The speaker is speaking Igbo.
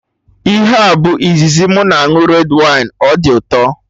Ihe a bụ izizi mụ ịṅụ red wine, ọ dị ụtọ